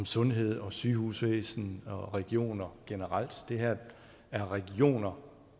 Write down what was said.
sundhed og sygehusvæsen og regioner generelt det her er regioner